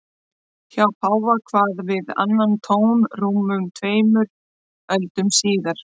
Hjá páfa kvað við annan tón rúmum tveimur öldum síðar.